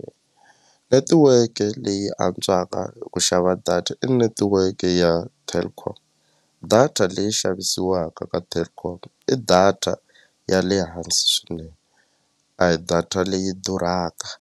Netiweke leyi antswaka eku xava data i netiweke ya Telkom data leyi xavisiwaka ka Telkom i data ya le hansi swinene a hi data leyi durhaka.